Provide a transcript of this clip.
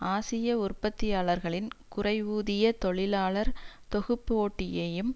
ஆசிய உற்பத்தியாளர்களின் குறைவூதிய தொழிலாளர் தொகுப்பு போட்டியையும்